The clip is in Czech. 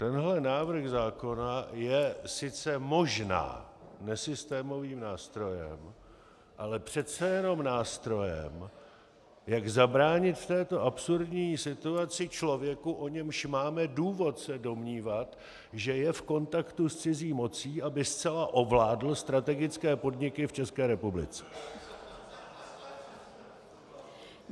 Tenhle návrh zákona je sice možná nesystémovým nástrojem, ale přece jenom nástrojem, jak zabránit v této absurdní situaci člověku, o němž máme důvod se domnívat, že je v kontaktu s cizí mocí, aby zcela ovládl strategické podniky v České republice.